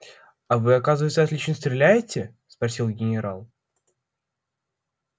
а вы оказывается отлично стреляете спросил генерал